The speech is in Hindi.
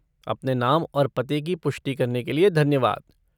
अपने नाम और पते की पुष्टि करने के लिए धन्यवाद।